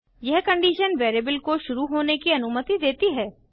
यह condition variable को शुरू होने की अनुमति देती है